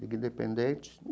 Liga Independente.